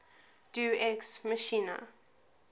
deus ex machina